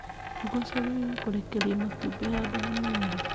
Ngũkũ ciagĩrĩirwo kũrekeria matumbĩ handũ haniaru.